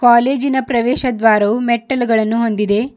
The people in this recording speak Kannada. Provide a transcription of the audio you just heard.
ಕಾಲೇಜಿನ ಪ್ರವೇಶ ದ್ವಾರವು ಮೆಟ್ಟಿಲುಗಳನ್ನು ಹೊಂದಿದೆ.